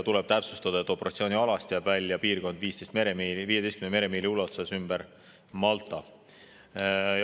Tuleb täpsustada, et operatsioonialast jääb välja piirkond 15 meremiili ulatuses ümber Malta.